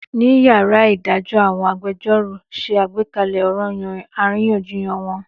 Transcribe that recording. Ní yàrá ìdájọ́ àwọn agbẹjẹ́rọ̀ ṣe àgbékalẹ̀ ọranyan àríyànjiyàn wọn.